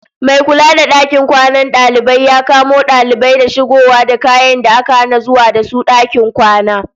Mai kula da dakin kwanan dalibai ya kamo dalibai da shigowa da kayan da aka hana zuwa da su dakin kwana.